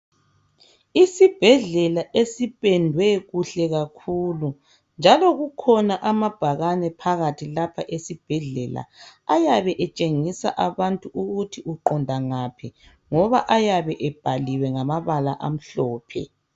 Isibhedlela esipendwe kuhle kakhulu njao kukhona amabhakani phakathi lapha esibhedlela. Ayabe etshengisa abantu ukuthi uqonda ngaphi ngoba ayabe ebhaliwe ngamabala amhlophe.